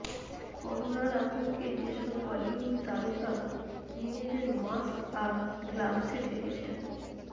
করোনার আতঙ্কে যেসব বলিউড তারকা নিজেদের মাস্ক আর গ্লাভসে ঢেকেছেন